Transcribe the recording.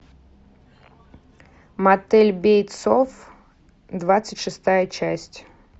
мотель бейтсов двадцать шестая часть